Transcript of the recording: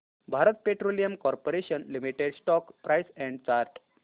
Bharat petroleum corporation limited stock price and chart